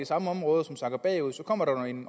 samme områder som sakker bagud så kommer der jo en